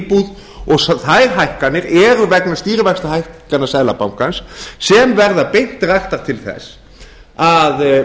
íbúð og þær hækkanir eru vegna stýrivaxtahækkana seðlabankans sem verða beint raktar til þess að